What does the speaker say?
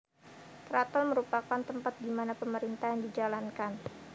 Keraton merupakan tempat dimana pemerintahan di jalankan